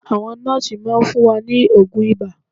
Àwọn nọ́ọ́sì máa fún wa ní oògùn ibà